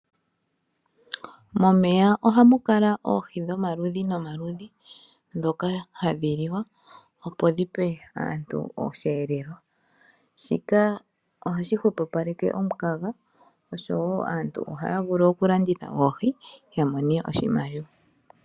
Momeya ohamu kala oohi dhomaludhi nomaludhi ndhoka hadhi liwa, opo dhipe aantu osheelelwa. Shika oshi hupapaleke omu kaga, osho woo aantu ohaya vulu oku landitha oohi ya mone oshimaliwa.